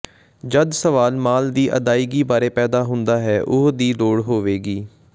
ਜਦ ਸਵਾਲ ਮਾਲ ਦੀ ਅਦਾਇਗੀ ਬਾਰੇ ਪੈਦਾ ਹੁੰਦਾ ਹੈ ਉਹ ਦੀ ਲੋੜ ਹੋਵੇਗੀ